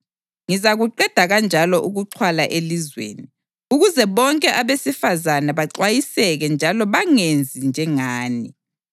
Ngizakuqeda kanjalo ukuxhwala elizweni, ukuze bonke abesifazane baxwayiseke njalo bangenzi njengani.